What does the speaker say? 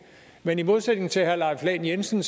men i modsætning til herre leif lahn jensen